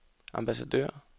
ambassadør